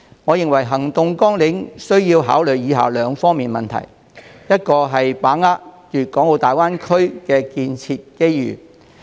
我認為行動網領需考慮兩方面的問題：第一，要把握粵港澳大灣區建設的機遇。